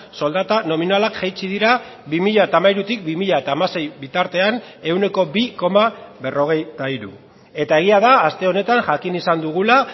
soldata nominalak jaitsi dira bi mila hamairutik bi mila hamasei bitartean ehuneko bi koma berrogeita hiru eta egia da aste honetan jakin izan dugula